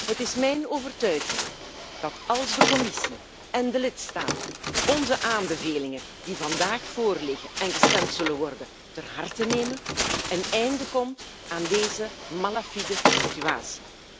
Het is mijn overtuiging dat, als de Commissie en de lidstaten onze aanbevelingen die vandaag voorliggen en waarover gestemd zal worden, ter harte nemen een einde komt aan deze malafide situatie.